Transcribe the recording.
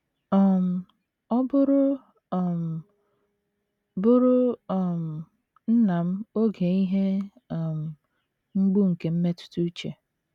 um Ọ bụụrụ um bụụrụ um nna m oge ihe um mgbu nke mmetụta uche.